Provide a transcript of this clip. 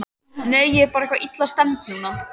Nei, ég er bara eitthvað illa stemmd núna.